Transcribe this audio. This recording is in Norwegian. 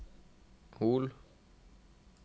Hol